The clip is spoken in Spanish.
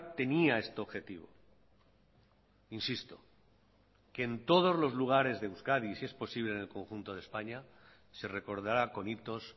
tenía este objetivo insisto que en todos los lugares de euskadi y si es posible en el conjunto de españa se recordará con hitos